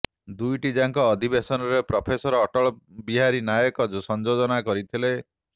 ଦୁଇଟି ଯାକ ଅଧିବେଶନରେ ପ୍ରଫେସର ଅଟଳ ବିହାରୀ ନାୟକ ସଯୋଜନା କରିଥିଲେ